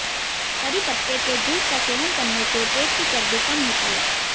करी पत्ते के जूस का सेवन करने से पेट की चर्बी कम होती है